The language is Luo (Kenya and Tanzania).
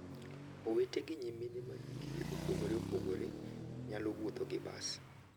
Owete gi nyimine ma hikgi opogore opogore nyalo wuotho gi bas.